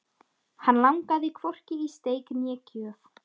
Hann langaði hvorki í steik né gjöf.